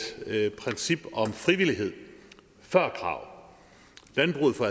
princip om frivillighed før krav landbruget får